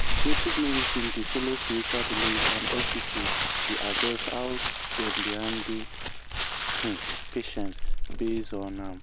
native medicine dey follow spiritual belief and hospital dey adjust how dem dey handle um patient based on um am.